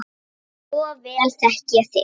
Svo vel þekki ég þig.